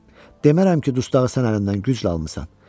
Demərəm ki, dustağı sən əlimdən güclə almısan.